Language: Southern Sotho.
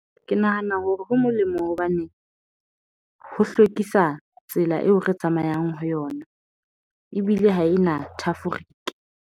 Ke nahana hore ho molemo hobane ho hlwekisa tsela eo re tsamayang ho yona ebile ha e na .